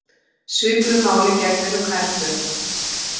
Svipuðu máli gegnir um nærföt.